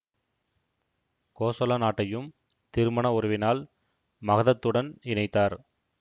கோசல நாட்டையும் திருமண உறவினால் மகதத்துடன் இணைத்தார்